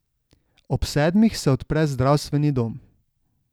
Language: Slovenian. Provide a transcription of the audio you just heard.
Ob sedmih se odpre zdravstveni dom.